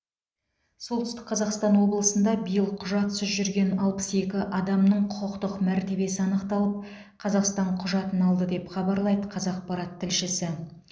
солтүстік қазақстан облысында биыл құжатсыз жүрген алпыс екі адамның құқықтық мәртебесі анықталып қазақстан құжатын алды деп хабарлайды қазақпарат тілшісі